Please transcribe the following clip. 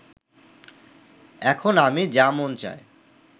এখন আমি যা মন চায়